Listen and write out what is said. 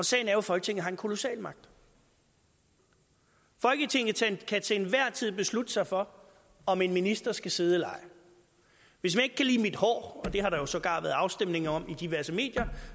sagen er jo at folketinget har en kolossal magt folketinget kan til enhver tid beslutte sig for om en minister skal sidde eller ej hvis man ikke kan lide mit hår og det har der sågar været afstemninger om i diverse medier